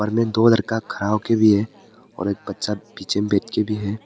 में दो लड़का खड़ा होके भी है और एक बच्चा पीछे बैठ के भी है।